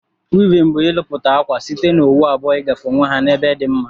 Wivin bu ilụputa akwa site na owu abụọ igafe onwe ha na ebe di mma.